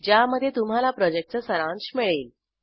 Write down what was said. ज्यामध्ये तुम्हाला प्रॉजेक्टचा सारांश मिळेल